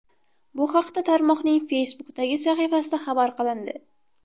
Bu haqda tarmoqning Facebook’dagi sahifasida xabar qilindi .